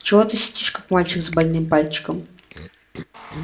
чего ты сидишь как мальчик с больным пальчиком